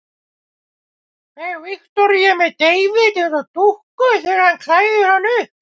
Fer Viktoría með David eins og dúkku þegar hún klæðir hann upp?